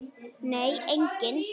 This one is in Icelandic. Nei, enginn